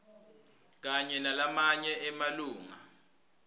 kanye nalamanye emalunga